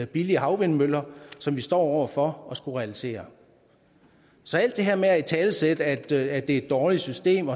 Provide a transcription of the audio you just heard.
billige havvindmøller som vi står over for at skulle realisere så alt det her med at italesætte at det er et dårligt system